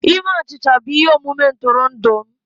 Ime achịcha bụ ihe omume ntụrụndụ m